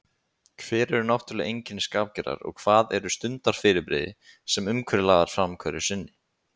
Hver eru náttúrleg einkenni skapgerðar og hvað eru stundarfyrirbrigði, sem umhverfi laðar fram hverju sinni?